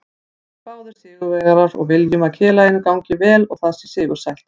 Við erum báðir sigurvegarar og viljum að félaginu gangi vel og það sé sigursælt.